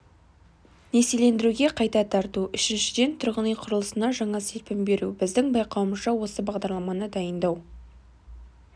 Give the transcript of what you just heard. несиелендіруге қайта тарту үшіншіден тұрғын үй құрылысына жаңа серпін беру біздің байқауымызша осы бағдарламаны дайындау